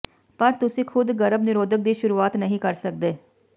ਪਰ ਤੁਸੀਂ ਖੁਦ ਗਰਭ ਨਿਰੋਧਕ ਦੀ ਸ਼ੁਰੂਆਤ ਨਹੀਂ ਕਰ ਸਕਦੇ